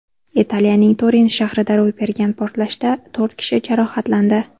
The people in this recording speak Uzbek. Italiyaning Turin shahrida ro‘y bergan portlashda to‘rt kishi jarohatlandi.